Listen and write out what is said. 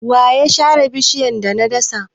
Wa ya sare bishiyar da na dasa?